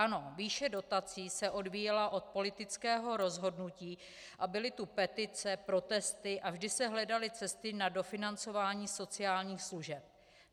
Ano, výše dotací se odvíjela od politického rozhodnutí a byly tu petice, protesty a vždy se hledaly cesty na dofinancování sociálních služeb.